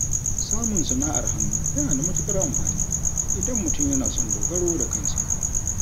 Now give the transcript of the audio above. Samun sana’ar hannu yana da matukar amfani, idan mutum yana son dogaro da kansa.